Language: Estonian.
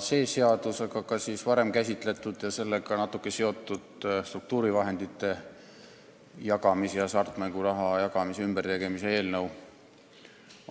See seadus, aga ka varem käsitletud ja sellega natuke seotud struktuurivahendite jagamise ja hasartmänguraha jagamise ümbertegemise seaduse eelnõu